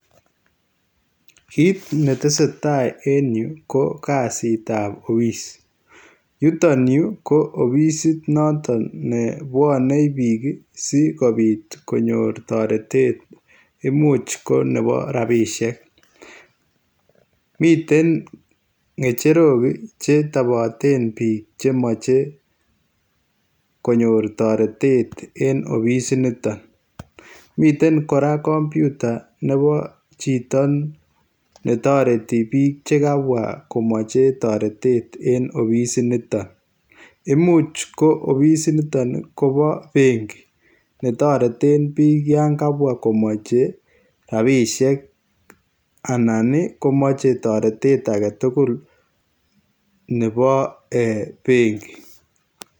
Kit ne tesetai en Yuu ko kazit ab [office] yutoon Yuu ii ko offisiit noton ne bwane biik ii sikobiit konyoor taretet imuuch ko nebo rapisheek miten ngecherook che tabateen biik che machei konyoor taretet en offisiit nitoon miten kora [computer] nebo chitoo ne taretii biik chekabwaa komachei taretet en offisiit nitoon imuuch ko offisiit nitoon ii ko bo benki be tareteen biik yaan kabwaa komachei rapisheek anan komachei taretet age tugul nebo benki.